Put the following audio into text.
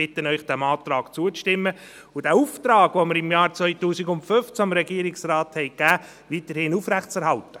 Ich bitte Sie, diesem Antrag zuzustimmen und den Auftrag, den wir dem Regierungsrat im Jahr 2015 gegeben haben, weiterhin aufrechtzuerhalten.